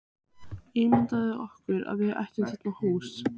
Ímyndað okkur að við ættum þarna hús.